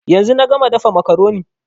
Yanzu na gama dafa makaroni